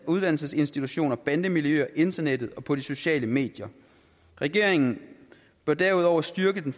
uddannelsesinstitutioner bandemiljøer internettet og på de sociale medier regeringen bør derudover styrke det